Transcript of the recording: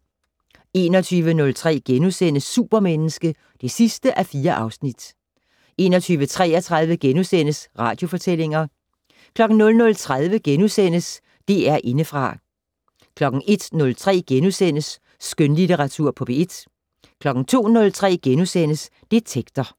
21:03: Supermenneske (4:4)* 21:33: Radiofortællinger * 00:30: DR Indefra * 01:03: Skønlitteratur på P1 * 02:03: Detektor *